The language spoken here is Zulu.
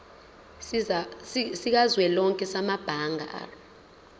sikazwelonke samabanga r